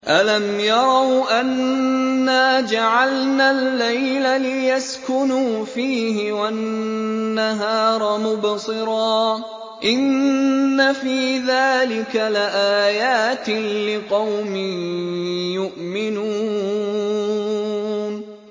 أَلَمْ يَرَوْا أَنَّا جَعَلْنَا اللَّيْلَ لِيَسْكُنُوا فِيهِ وَالنَّهَارَ مُبْصِرًا ۚ إِنَّ فِي ذَٰلِكَ لَآيَاتٍ لِّقَوْمٍ يُؤْمِنُونَ